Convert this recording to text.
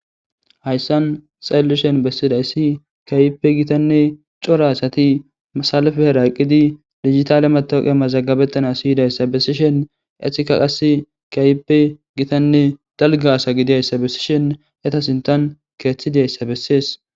hayssan xallishen bessida issi kaype gitanne cora asati masalafe heraqqidi digitale matooqe mazagabettana siyidayssa bessishen esika qas kaype gitanne dalga asa gidiayssa bessishen etasintan keeththidiayssa bessees